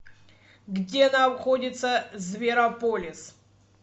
где находится зверополис